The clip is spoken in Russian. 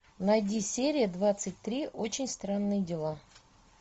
найди серия двадцать три очень странные дела